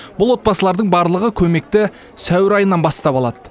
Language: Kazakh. бұл отбасылардың барлығы көмекті сәуір айынан бастап алады